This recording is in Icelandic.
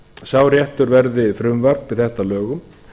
sá réttur verði frumvarp þetta að lögum